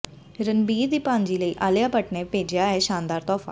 ਰਣਬੀਰ ਦੀ ਭਾਣਜੀ ਲਈ ਆਲੀਆ ਭੱਟ ਨੇ ਭੇਜਿਆ ਇਹ ਸ਼ਾਨਦਾਰ ਤੋਹਫ਼ਾ